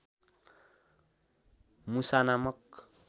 मुसा नामक